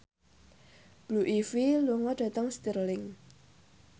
Blue Ivy lunga dhateng Stirling